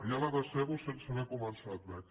ja la decebo sense haver començat veig